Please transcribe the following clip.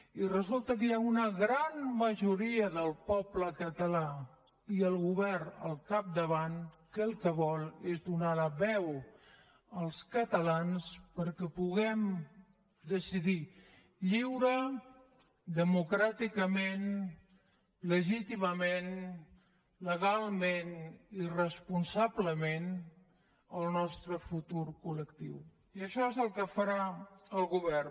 i resulta que hi ha una gran majoria del poble català i el govern al capdavant que el que vol és donar la veu als catalans perquè puguem decidir lliurement democràticament legítimament legalment i responsablement el nostre futur coli això és el que farà el govern